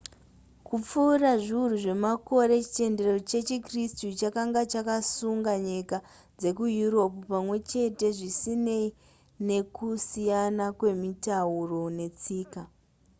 kupfuura zviuru zvemakore chitendero chechikritsu chakanga chakasunga nyika dzekueurope pamwe chete zvisinei nekusiyana kwemitauro netsika